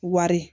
Wari